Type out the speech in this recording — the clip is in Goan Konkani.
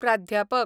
प्राध्यापक